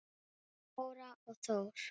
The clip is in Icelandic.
Dóra og Þór.